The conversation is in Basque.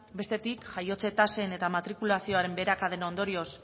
bestetik jaiotzen tasen eta matrikulazioaren beherakaden ondorioz